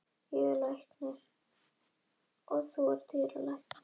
Þú ert ótrúlegur- sagði hún aðeins rólegri og virti hann fyrir sér með vantrúarsvip.